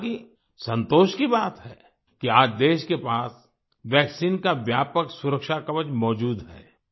हाँलाकि संतोष की बात है कि आज देश के पास वैक्सीन का व्यापक सुरक्षा कवच मौजूद है